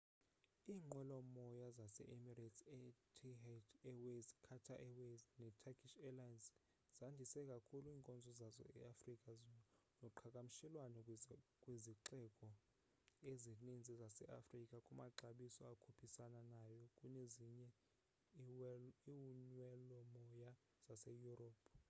iinqwelomoya ezinjenge emirates etihad airways qatar airways neturkish airlines zandise kakhulu iinkonzo zazo eafrika noqhakamshelwano kwizixeko ezininzi zase afrika ngamaxabiso akhuphisana nayo kunezinye inwelomoya zase europe